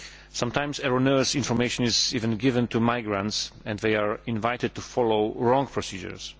Sometimes, erroneous information is even given to migrants and they are invited to follow wrong procedures.